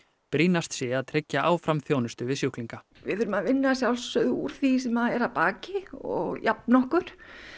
brýnast sé að tryggja áfram þjónustu við sjúklinga við þurfum að vinna að sjálfsögðu úr því sem er að baki og jafna okkur